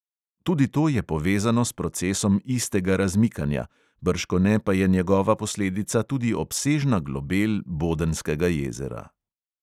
Tudi to je povezano s procesom istega razmikanja, bržkone pa je njegova posledica tudi obsežna globel bodenskega jezera.